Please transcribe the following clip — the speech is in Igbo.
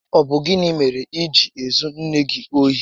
Ọ bụ gịnị mèrè iji ezu nné gị ohi?